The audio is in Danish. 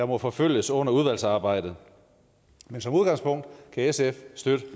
må forfølges under udvalgsarbejdet men som udgangspunkt kan sf støtte